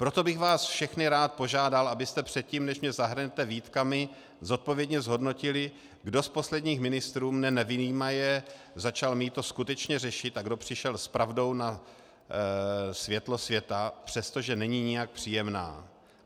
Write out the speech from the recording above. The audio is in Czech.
Proto bych vás všechny rád požádal, abyste předtím, než mě zahrnete výtkami, zodpovědně zhodnotili, kdo z posledních ministrů, mne nevyjímaje, začal mýto skutečně řešit a kdo přišel s pravdou na světlo světa přesto, že není nijak příjemná.